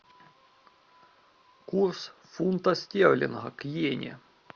курс фунта стерлинга к йене